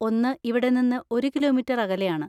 ഒന്ന് ഇവിടെ നിന്ന് ഒരു കിലോമീറ്റർ അകലെയാണ്.